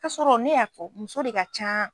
Ka sɔrɔ ne y'a fɔ muso de ka can